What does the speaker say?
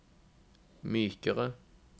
mykere